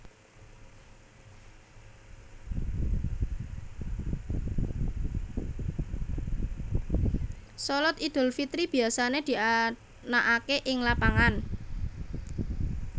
Shalat Idul Fitri biasané dianakaké ing lapangan